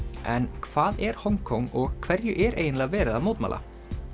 en hvað er Hong Kong og hverju er eiginlega verið að mótmæla